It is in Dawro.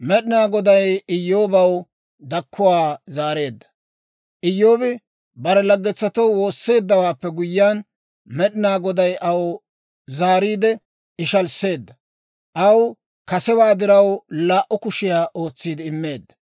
Iyyoobi bare laggetoo woosseeddawaappe guyyiyaan, Med'inaa Goday aw zaariide ishalisseedda; aw kasewaa diraw laa"u kushiyaa ootsiide immeedda.